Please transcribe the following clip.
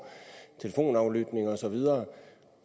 telefonaflytning osv